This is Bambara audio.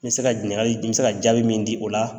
N bɛ se ka ɲininkali n bɛ se ka jaabi min di o la.